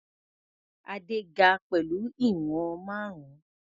Adé ga pẹ̀lú ìwọ̀n márùn-ún.